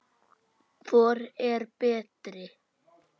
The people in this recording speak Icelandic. Hvor er betri?